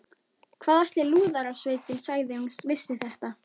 Hvað ætli Lúðrasveitin segði ef hún vissi þetta?